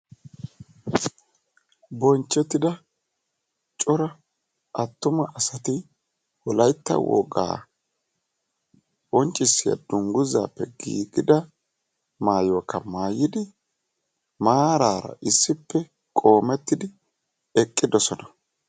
Bonchchettida cora attuma asati wolaytta wogaa qonccisiyaa dunguzaappe giigida wogaa maayuwakka maayidi maarara issippe qoomettidi eqqidosona.